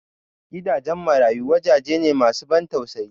Gidajen marayu wajaje ne masu ban tausayi